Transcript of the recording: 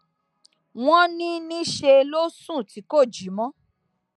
wọn ní níṣẹ ló sùn tí kò jí mọ